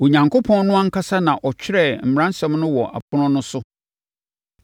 Onyankopɔn no ankasa na ɔtwerɛɛ mmaransɛm no wɔ apono no so.